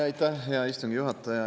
Aitäh, hea istungi juhataja!